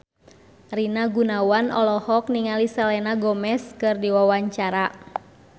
Rina Gunawan olohok ningali Selena Gomez keur diwawancara